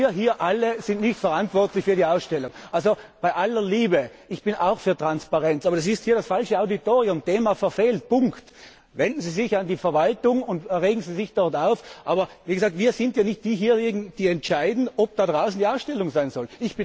Denn wir alle hier sind nicht verantwortlich für diese Ausstellung. Bei aller Liebe, ich bin auch für Transparenz, aber das ist hier das falsche Auditorium. Thema verfehlt. Punkt! Wenden Sie sich an die Verwaltung und regen Sie sich dort auf, aber wir sind hier nicht diejenigen, die entscheiden, ob da draußen die Ausstellung sein